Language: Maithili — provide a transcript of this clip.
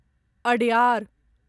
अड्यार